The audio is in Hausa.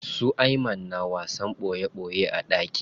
Su Ayman na wasan ɓoye ɓoye a ɗaki.